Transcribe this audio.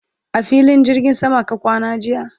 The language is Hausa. a filin jirgin sama ka kwana jiya?